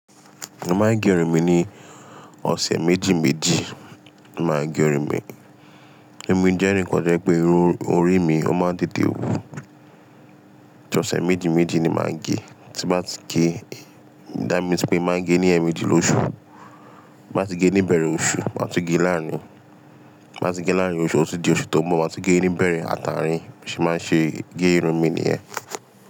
Mo máa ń gé irun mi ní ọ̀sẹ̀ méjì méjì. Máa gé irun mi, irun mi jẹ́ irun kan to jẹ pé irun orí mi ó máa ń tètè wù. Ọ̀sẹ̀ méjì méjì ni màá gé, tí n bá ti gé, that means pé màá gé ní ẹ̀ẹ̀méjì lóṣù. Tin ba ti gé níbẹ̀rẹ̀ oṣù, màá tun gé láàárín, tin ba ti gé láàárín oṣù, ó tun di oṣù tó ń bọ̀, màá tun gé níbẹ̀rẹ̀ ààtàrín bi mo ṣe maa ṣe gé irun mi nìyẹn.